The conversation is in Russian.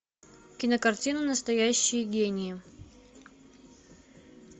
кинокартина настоящие гении